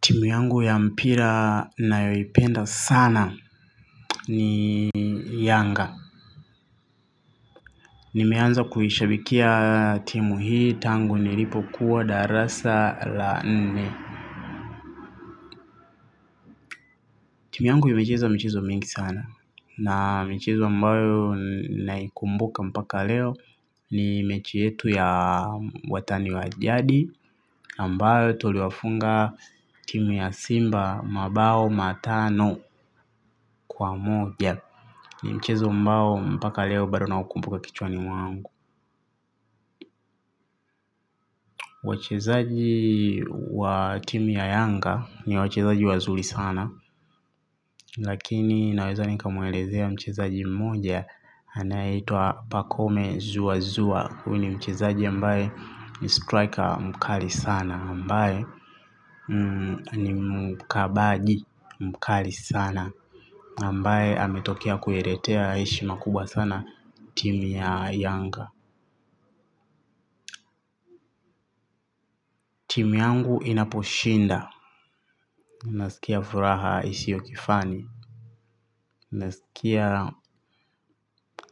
Timu yangu ya mpira nayoipenda sana ni yanga. Nimeanza kuishabikia timu hii tangu nilipokuwa darasa la nne. Timu yangu imecheza michezo mengi sana. Na michezo ambayo naikumbuka mpaka leo ni mechi yetu ya watani wajadi ambayo tuliwafunga timu ya simba mabao matano kwa moja. Ni mchezo ambao mpaka leo bado naukumbuka kichwani mwangu. Wachezaji wa timu ya Yanga ni wachezaji wazuri sana. Lakini naweza nikamuelezea mchezaji mmoja. Anayeitwa pakome zua zua huyu ni mchezaji ambaye ni striker mkali sana ambaye ni mkabaji mkali sana ambaye ametokea kuiletea heshima kubwa sana timu ya Yanga. Timu yangu inaposhinda nasikia furaha isiyo kifani. Nasikia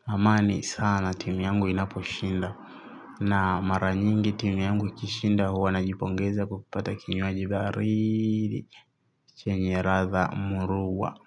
amani sana timu yangu inaposhinda. Na maranyingi timu yangu ikishinda huwa najipongeza kwa kupata kinywaji baridi chanye ladha muruwa.